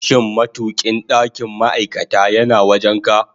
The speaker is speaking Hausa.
Shin matukin ɗakin ma'aikata yana wajen ka?